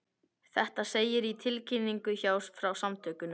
Þetta segir í tilkynningu frá samtökunum